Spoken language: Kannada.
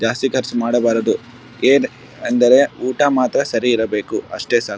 ಜಾಸ್ತಿ ಖರ್ಚು ಮಾಡಬಾರದು ಏನ್ ಅಂದರೆ ಊಟಾ ಮಾತ್ರ ಸರಿ ಇರಬೇಕು ಅಷ್ಟೆ ಸಾಕು.